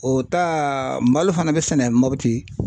O ta malo fana bɛ sɛnɛ mopti.